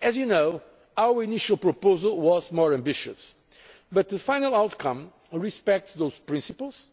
As you know, our initial proposal was more ambitious, but the final outcome respects those principles,